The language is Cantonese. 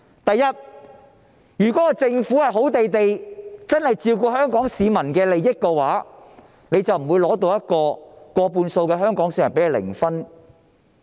首先，如果政府真的能夠好好地照顧香港市民的利益，政府得到的民意，便不會是過半數香港市民給它零分。